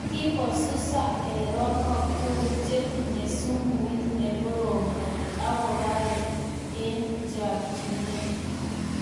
Kikosusaa erenook tugul chetinye sumuut nekorom kot akoparee eng chakchinet